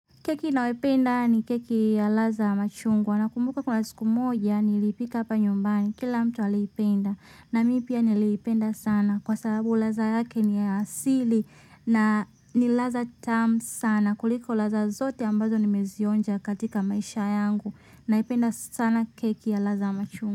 Keki ninayoipenda ni keki ya ladha ya machungwa nakumbuka kuna siku moja niliipika hapa nyumbani kila mtu aliipenda na mimi pia niliipenda sana kwa sababu ladha yake ni ya asili na ni ladha tamu sana kuliko ladha zote ambazo nimezionja katika maisha yangu naipenda sana keki ya ladha ya machungwa.